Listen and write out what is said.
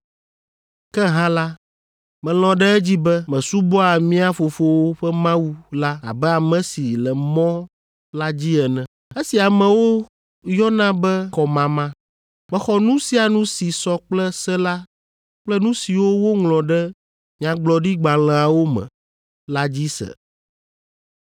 Ke hã la, melɔ̃ ɖe edzi be mesubɔa mía fofowo ƒe Mawu la abe ame si le Mɔ la dzi ene, esi amewo yɔna be kɔmama. Mexɔ nu sia nu si sɔ kple se la kple nu siwo woŋlɔ ɖe nyagblɔɖigbalẽawo me la dzi se.